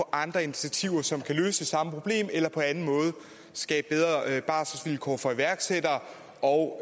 andre initiativer som kan løse samme problem eller på anden måde skabe bedre barselsvilkår for iværksættere og